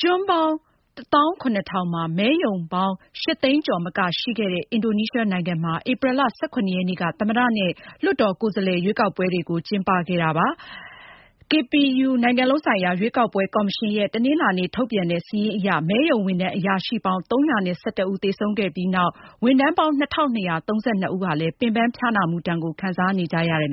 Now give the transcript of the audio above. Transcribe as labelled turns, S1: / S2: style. S1: ကျွန်းပေါင်း ၁၇,၀၀၀ မှာ မဲရုံးပေါင်း ၈၀၀,၀၀၀ ကျော်မကရှိခဲ့တဲ့ အင်ဒိုနီးရှားနိုင်ငံမှာ ဧပြီလ ၁၇ ရက်နေ့က သမ္မတနဲ့ လွှတ်တော်ကိုယ်စားလှယ် ရွေးကောက်ပွဲတွေကိုကျင်းပခဲ့တာဖြစ်ပါတယ်။ KPU နိုင်ငံလုံးဆိုင်ရာ ရွေးကောက်ပွဲ ကော်မရှင်ရဲ့ တနင်္လာနေ့ ထုတ်ပြန်တဲ့ စာရင်းအရ မဲရုံးဝန်ထမ်းအရာရှိပေါင်း ၃၁၁ ဦးသေဆုံးခဲ့ပြီး နောက်ထပ် ဝန်ထမ်းပေါင်း ၂,၂၃၂ ဦးဟာ ရွေးကောက်ပွဲ မဲအရေအတွက်မှာ ပါဝင်ကူညီခဲ့ပြီးနောက် အလုပ်ဖိစီးတဲ့ ပင်ပန်းဖျားနာမှု ဒဏ်ကို ခံစားခဲ့ကြရ
S2: ပါတယ်။